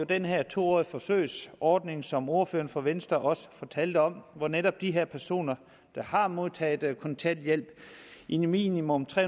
den her to årige forsøgsordning som ordføreren for venstre også fortalte om hvor netop de her personer der har modtaget kontanthjælp i minimum tre